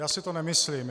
Já si to nemyslím.